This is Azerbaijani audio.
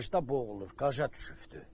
Qajda boğulur, qaja düşübdür.